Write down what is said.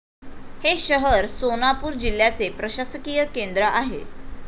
हे शहर सोनापूर जिल्ह्याचे प्रशासकीय केंद्र आहे.